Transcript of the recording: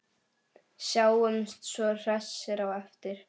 Sjáumst svo hressir á eftir.